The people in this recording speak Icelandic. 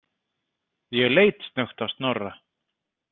Ég leit snöggt á Snorra.